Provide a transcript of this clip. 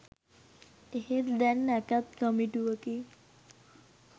එහෙත් දැන් නැකත් කමිටුවකින්